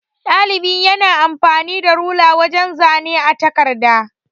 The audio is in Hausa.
Ɗalibi yana amfani da rula wajan zane a takarda.